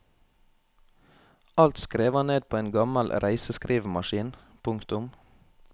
Alt skrev han ned på en gammel reiseskrivemaskin. punktum